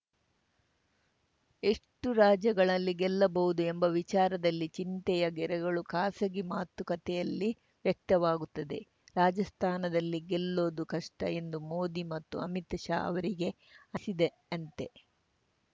ಎಷ್ಟುರಾಜ್ಯಗಳಲ್ಲಿ ಗೆಲ್ಲಬಹುದು ಎಂಬ ವಿಚಾರದಲ್ಲಿ ಚಿಂತೆಯ ಗೆರೆಗಳು ಖಾಸಗಿ ಮಾತುಕತೆಯಲ್ಲಿ ವ್ಯಕ್ತವಾಗುತ್ತಿವೆ ರಾಜಸ್ಥಾನದಲ್ಲಿ ಗೆಲ್ಲೋದು ಕಷ್ಟಎಂದು ಮೋದಿ ಮತ್ತು ಅಮಿತ್‌ ಶಾ ಅವರಿಗೆ ಅನ್ನಿಸಿದೆಯಂತೆ